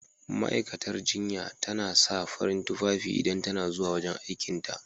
Ma'aikatar jinya tana sa farin tufafi idan ta na zuwa wajen aikin ta.